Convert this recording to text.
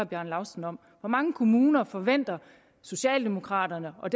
bjarne laustsen om hvor mange kommuner forventer socialdemokraterne og